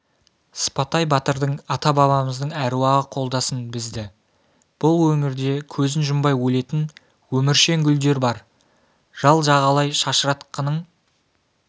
сыпатай батырдың ата-бабамыздың әруағы қолдасын бізді бұл өңірде көзін жұмбай өлетін өміршең гүлдер бар жал-жағалай шашыратқының